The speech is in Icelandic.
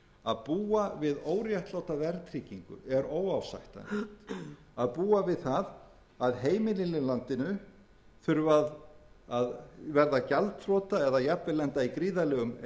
að búa við óréttláta verðtryggingu er óásættanlegt að búa við það að heimilin í landinu þurfi að verða gjaldþrota eða jafnvel lenda í gríðarlegum